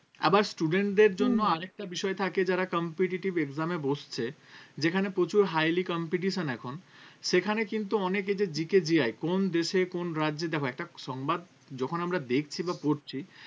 আবার students জন্য আরেকটা বিষয় থাকে যারা competitive exam এ বসছে যেখানে প্রচুর highly competition এখন সেখানে কিন্তু অনেক কোন দেশে কোন রাজ্যে দেখো একটা সংবাদ যখন আমরা দেখছি বা পড়ছি